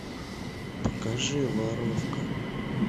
покажи воровка